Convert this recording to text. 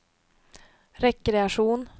rekreation